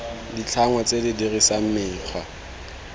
ditlhangwa tse di dirisang mekgwa